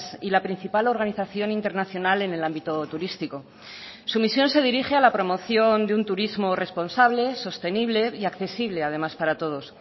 y la principal organización internacional en el ámbito turístico su misión se dirige a la promoción de un turismo responsable sostenible y accesible además para todos